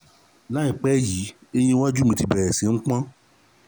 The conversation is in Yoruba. láìpẹ́ yìí eyín iwájú mi ti bẹ̀rẹ̀ sí i pon